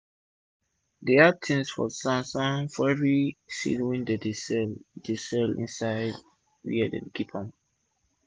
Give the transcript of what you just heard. dem add tins about san-san for everi seed wey dem dey sell dey sell insid wia dey keep dem